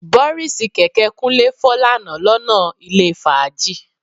Bọ́ríìsì kẹ̀kẹ́ Kúnlé fọ́ lánàá lọ́nà ilé fàájì